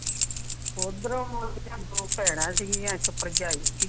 ਓਦਰੋਂ ਦੋਂ ਭੈਣਾਂ ਸੀ ਗਿਆ ਇਕ ਭਰਜਾਈ ਸੀ ਗਿ